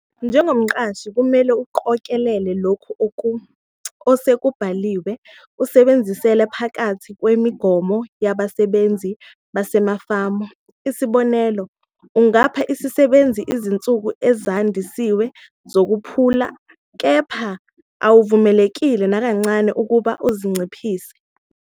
Njengomqashi kumele uqokelele lokhu osekubaluliwe usebenzela phakathi kwemigomo yabasebenzi basemafama. Isibonelo, ungapha isisebenzi izinsuku ezandisiwe zokuphumula, kepha awuvumelekile nakancane ukuba uzinciphise.